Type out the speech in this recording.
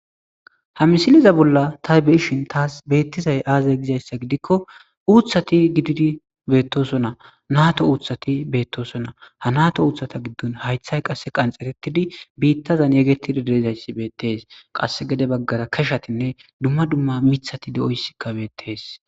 ha misiliza bolla ta beyishin taas beettizay aazay gizayssa gidikko uuthati gididi beettosona naato uuthati beettosona ha nato uuthata giddon haythay qasse qanxxeretidi biittazan yeegetidi deezayssi beettees qasse gede baggara keshatinne dumma dumma mithati de7oyssikkabeettees